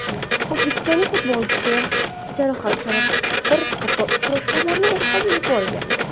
O‘zbekistonlik futbolchi jarohati sabab bir qator uchrashuvlarni o‘tkazib yuborgandi.